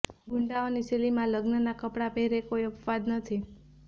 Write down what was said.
ગુંડાઓ ની શૈલીમાં લગ્નનાં કપડાં પહેરે કોઈ અપવાદ નથી